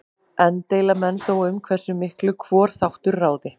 Enn deila menn þó um hversu miklu hvor þáttur ráði.